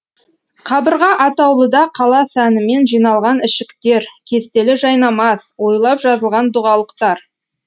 қабырға атаулыда қала сәнімен жиналған ішіктер кестелі жайнамаз оюлап жазылған дұғалықтар